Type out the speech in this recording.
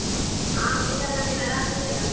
ಆ meet ಆಗಣ, ಏನ್ ಆರಾಮಿದ್ಯಲ್ಲ?